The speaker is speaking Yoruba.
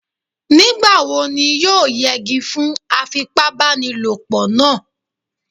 Nígbà wo ni yóò yẹgi fún afipábanílòpọ̀ náà?